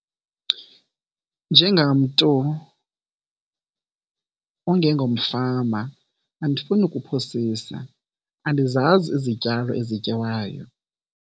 Njengamntu ongengomfama andifuni kuphosisa andizazi izityalo ezityiwayo.